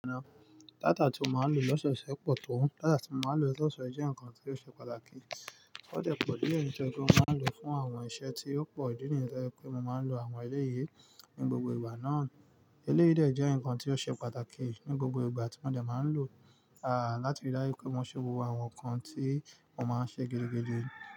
Data tí mo máa ń lò lọ́sọ̀ọ́sẹ́ pọ̀ tó. Data tí mo máa ń lò lọ́sọ̀ọ́sẹ̀ jẹ́ nkan tí ó ṣe pàtàkì. Ó dẹ̀ pọ̀ díẹ̀ nítorí pé mo máa ń lò ó fún àwọn iṣẹ́ tí ó pọ̀. Ìdí ni yẹn tó jẹ́ wí pé mo máa ń lo àwọn eléyi ní gbogbo ìgbà náà. Elééyi dè jẹ́ nǹkan tí ó ṣe pàtàkì ní gbogbo ìgbà tí mo dẹ̀ máa ń lò láti rí i dájú pé mo ṣe gbogbo àwọn nǹkan tí mo máa ń ṣe gidigidi.